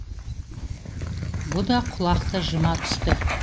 бұ да құлақты жыма түсті